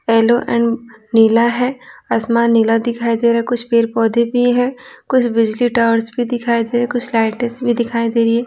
Yellow and नीला है आसमान नीला दिखाई दे रहा है कुछ पेड़ पौधे भी हैं कुछ बिजली टावर्स भी दिखाई दे रहे हैं कुछ लाइटेज भी दिखाई दे रही है।